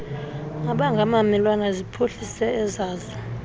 angabamelwane ziphuhlise ezazo